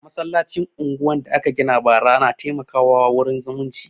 Masallacin unguwan da aka gina bara na taimaka wa wurin zumunci